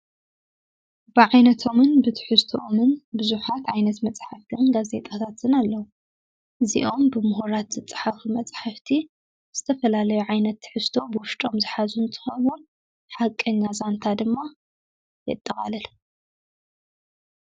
ብዓይነቶምን ብትሕዝተኦምን ብዙሓት ኣይነት መጻሕፍቲን ጋዘይጠታትን ኣለዉ፡፡ እዚኦም ብምሁራት ዝፀሓፉ መጽሕፍቲ ዝተፈላለዩ ዓይነት ትሕዝቶ ብወሽጦም ዝኃዙን እንትኮኑ ሓቀኛ ዛንታ ድማ የጠቓለሉ፡፡